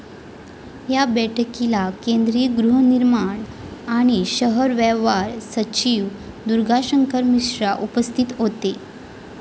या बैठकीला केंद्रीय गृहनिर्माण आणि शहर व्यवहार सचिव दुर्गाशंकर मिश्रा उपस्थित होते.